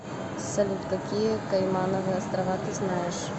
салют какие каймановы острова ты знаешь